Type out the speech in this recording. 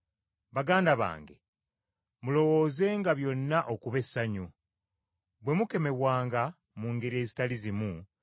Baganda bange, mulowoozenga byonna okuba essanyu, bwe mukemebwanga mu ngeri ezitali zimu